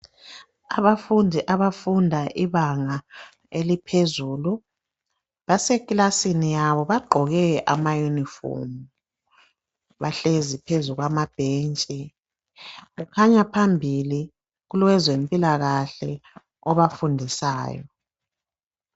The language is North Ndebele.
Abafundi abafunda ibanga eliphezulu basekilasini yabo bagqoke amayunifomu. Bahlezi phezu kwamabhentshi, kukhanya phambili kulowezempilakahle obafundisayo